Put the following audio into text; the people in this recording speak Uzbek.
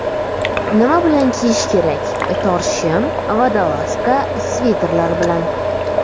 Nima bilan kiyish kerak: tor shim, vodolazka, sviterlar bilan.